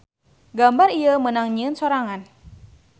Gambar ieu meunang nyieun sorangan.